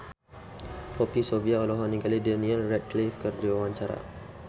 Poppy Sovia olohok ningali Daniel Radcliffe keur diwawancara